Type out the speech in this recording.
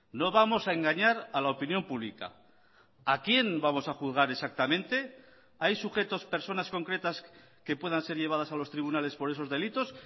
no vamos a engañar a la opinión pública a quién vamos a juzgar exactamente hay sujetos personas concretas que puedan ser llevadas a los tribunales por esos delitos